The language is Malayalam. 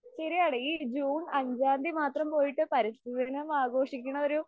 ശരിയാണ് ഈ ജൂൺ അഞ്ചാം തിയ്യതി മാത്രം പോയിട്ട് പരിസ്ഥിതി ദിനം ആഘോഷിക്കുന്ന ഒരു